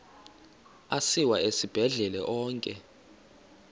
asiwa esibhedlele onke